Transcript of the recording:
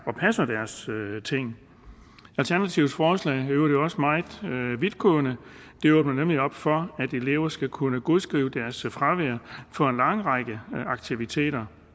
og passer deres ting alternativets forslag i øvrigt også meget vidtgående det åbner nemlig op for at elever skal kunne godskrive deres fravær for en lang række aktiviteter